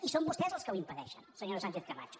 i són vostès els que ho impedeixen senyora sánchez camacho